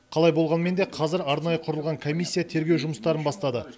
қалай болғанмен де қазір арнайы құрылған комиссия тергеу жұмыстарын бастады